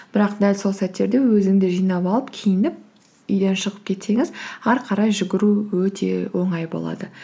бірақ дәл сол сәттерде өзіңді жинап алып киініп үйден шығып кетсеңіз ары қарай жүгіру өте оңай болады